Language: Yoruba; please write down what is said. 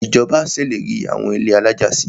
Ìjọba ṣèlérí àwọn ilé alájà si.